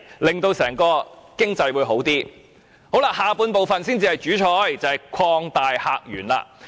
議案的第二部分才是"主菜"，就是"擴大客源"。